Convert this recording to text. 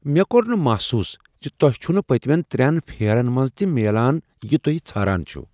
مےٚ كور نہٕ محسوس زِ توہہِ چھٗنہٕ پتِمین ترین پھیرن منز تہِ میلان یہِ توہہِ ژھاران چھِو ۔